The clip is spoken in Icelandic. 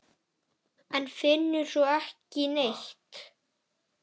En finnur svo ekki neitt.